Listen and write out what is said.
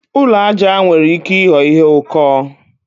Ụlọ aja nwere ike ịghọ ihe ụkọ.